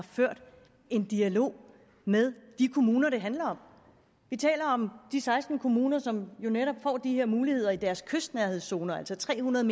ført en dialog med de kommuner det handler om vi taler om de seksten kommuner som jo netop får de her muligheder i deres kystnærhedszone altså tre hundrede